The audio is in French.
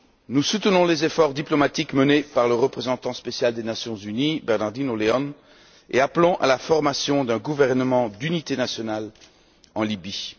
Nous soutenons les efforts diplomatiques menés par le représentant spécial des Nations unies, Bernardino León, et appelons à la formation d'un gouvernement d'unité nationale en Libye.